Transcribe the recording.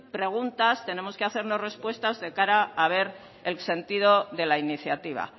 preguntas tenemos que hacernos respuestas de cara a ver el sentido de la iniciativa